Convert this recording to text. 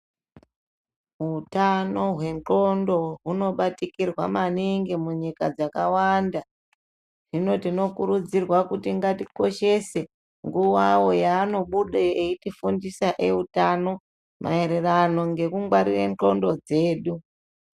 Hutano hwendxoko hunobatikirwa maningi munyika dzakawanda hino tinokurudzirwa kuti ngatikoshese nguwawo yaanobude eitifundisw eutano maererano nekungwarire ndxondo dzedu.